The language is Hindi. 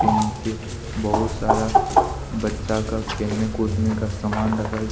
के नीचे बहुत सारा बच्चा का खेलने कूदने का सामान रखा गया--